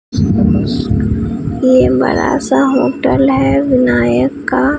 ये बड़ा सा होटल है विनायक का--